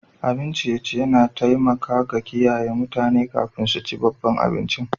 Abin ciye-ciye na taimaka da kiyaye mutane kafin su ci babban abincin.